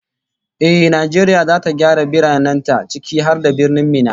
Ehh, Najeriya zata gyara biranen ta, ciki har da Birnin Minna